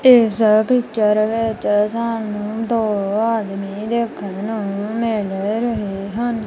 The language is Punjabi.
ਇਸ ਪਿੱਚਰ ਵਿੱਚ ਸਾਨੂੰ ਦੋ ਆਦਮੀ ਦੇਖਣ ਨੂੰ ਮਿਲ ਰਹੇ ਹਨ।